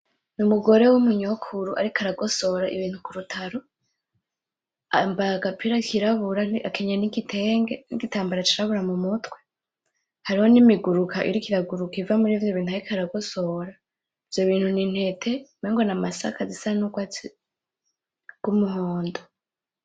Umugore w'umunyokuru ariko aragosora ibintu k'urutaro , yambaye agapira kirabura akenyeye n'igitenge n'igitambara c'irabura mumutwe , hariho nimiguruka iriko iraguruka iva murivyo bintu ariko aragosora , ivyo bintu ni intete umengo n'amasaka zisa n'urwatsi rw'umuhondo.